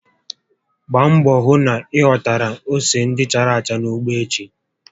Gbaa mbọ hụ na ị ghọtara ose ndị chárá acha n'ugbo echi!